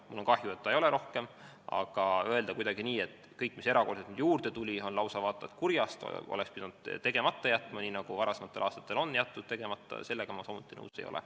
Mul on kahju, et seda ei ole rohkem, aga sellega, et kõik, mis nüüd erakorraliselt juurde tuli, on lausa vaata et kurjast ja selle oleks pidanud tegemata jätma, nii nagu varasematel aastatel tegemata jäeti, ma samuti nõus ei ole.